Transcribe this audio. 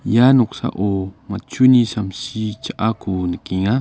ia noksao matchuni samsi cha·ako nikenga.